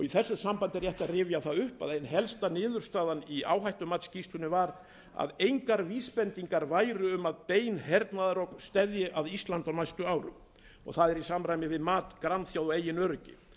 í þessu sambandi er rétt að rifja upp að ein helsta niðurstaða í áhættumatsskýrslunni var að engar vísbendingar væru um að bein hernaðarógn steðjaði að íslandi á næstu árum það er í samræmi við mat grannþjóða á eigin öryggi